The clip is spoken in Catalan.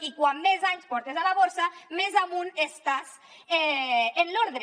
i com més anys portes a la borsa més amunt estàs en l’ordre